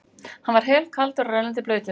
Hann var helkaldur og rennandi blautur.